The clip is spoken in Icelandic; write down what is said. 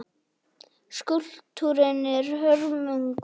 Skúlptúrinn er hörmung.